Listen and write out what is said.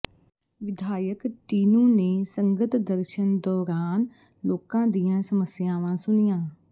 ਵਿਧਾਇਕ ਟੀਨੂੰ ਨੇ ਸੰਗਤ ਦਰਸ਼ਨ ਦੌਰਾਨ ਲੋਕਾਂ ਦੀਆਂ ਸਮੱਸਿਆਵਾਂ ਸੁਣੀਆਂ